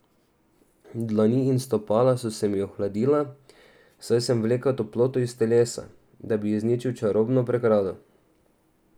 Dlani in stopala so se mi ohladila, saj sem vlekel toploto iz telesa, da bi izničil čarobno pregrado.